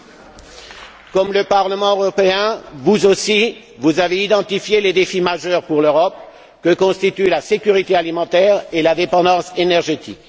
Tout comme le Parlement européen, vous avez identifié les défis, majeurs pour l'Europe, que constituent la sécurité alimentaire et la dépendance énergétique.